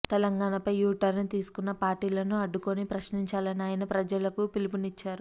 తెలంగాణపై U turn తీసుకున్న పార్టీలను అడ్డుకొని ప్రశ్నించాలని ఆయన ప్రజలకు పిలుపునిచ్చారు